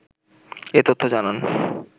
এ তথ্য জানান